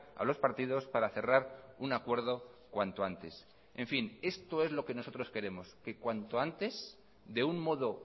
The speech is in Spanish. a los partidos para cerrar un acuerdo cuanto antes en fin esto es lo que nosotros queremos que cuanto antes de un modo